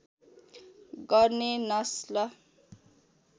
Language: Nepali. गर्ने नस्ल